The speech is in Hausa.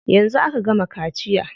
Yanzu aka gama kaciya.